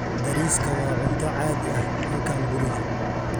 Bariiska waa cunto caadi ah halkan guriga.